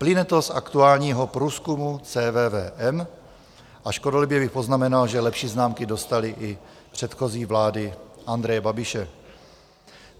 Plyne to z aktuálního průzkumu CVVM a škodolibě bych poznamenal, že lepší známky dostaly i předchozí vlády Andreje Babiše.